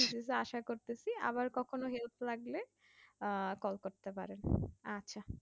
আশা করতেছি আবার কখনো help লাগলে call করতে পারেন আচ্ছা।